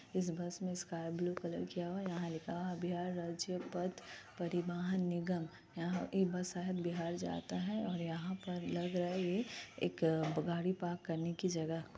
इस बस में sky blue colour किया हुआ है। यहाँ लिखा हुआ है बिहार राज्य पथ परिवहन निगम। यहाँ की बस बिहार जाता है और यहाँ पर लग रहा है ये एक गाड़ी पार्क करने की जगह --